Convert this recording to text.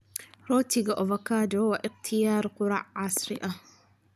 Rootiga avocado waa ikhtiyaar quraac casri ah.